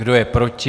Kdo je proti?